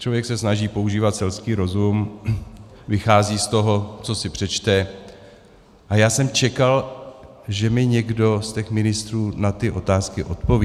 Člověk se snaží používat selský rozum, vychází z toho, co si přečte, a já jsem čekal, že mi někdo z těch ministrů na ty otázky odpoví.